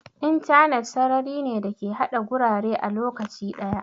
Intanet sarari ne da ke haɗa gurare a lokaci ɗaya.